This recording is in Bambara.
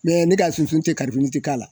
Mɛ ne ka sunun tɛ karibini tɛ k'a la.